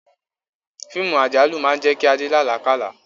Fíìmù àjálù máa ń jẹ́ kí Adé la alakala.